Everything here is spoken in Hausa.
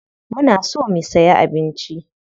Muna so mu siya abinci.